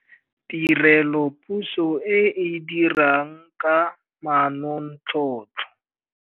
Tirelopuso e e dirang ka manontlhotlho.